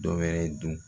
Dɔ wɛrɛ dun